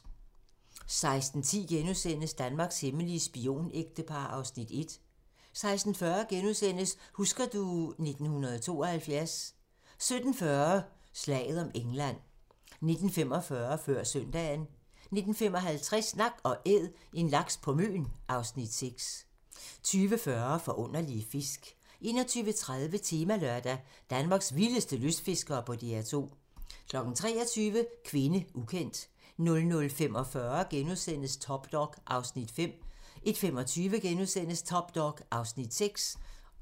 16:10: Danmarks hemmelige spionægtepar (Afs. 1)* 16:40: Husker du ... 1972 * 17:40: Slaget om England 19:45: Før søndagen 19:55: Nak & Æd - en laks på Møn (Afs. 6) 20:40: Forunderlige fisk 21:30: Temalørdag: : Danmarks vildeste lystfiskere på DR2 23:00: Kvinde, ukendt 00:45: Top dog (Afs. 5)* 01:25: Top dog (Afs. 6)*